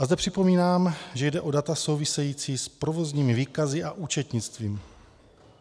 A zde připomínám, že jde o data související s provozními výkazy a účetnictvím.